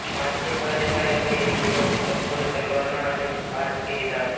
પાંચથી છ જેટલાં યુવકોએ એક યુવકને ચપ્પુ અને તલવારના અનેક ઘા ઝીંકી દીધા હતા